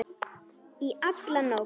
Í alla nótt.